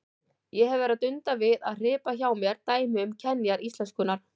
Ég hef verið að dunda við að hripa hjá mér dæmi um kenjar íslenskunnar.